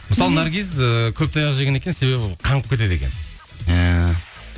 мысалы наргиз ыыы көп таяқ жеген екен себебі қаңғып кетеді екен ііі